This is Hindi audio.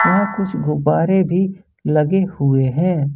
यहां कुछ गुब्बारे भी लगे हुए हैं।